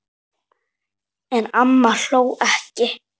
En amma hló ekki.